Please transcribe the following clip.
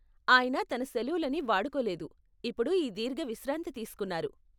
ఆయన తన సెలవులని వాడుకోలేదు, ఇప్పుడు ఈ దీర్ఘ విశ్రాంతి తీస్కున్నారు.